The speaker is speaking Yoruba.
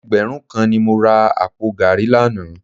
Ẹgbẹ̀rún kan ni mo ra àpò gààrí lánàá